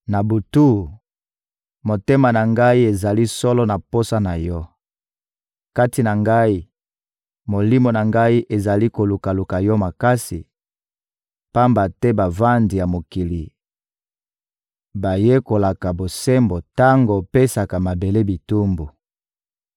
Na butu, motema na ngai ezali solo na posa na Yo; kati na ngai, molimo na ngai ezali kolukaluka Yo makasi, pamba te bavandi ya mokili bayekolaka bosembo tango opesaka mabele bitumbu.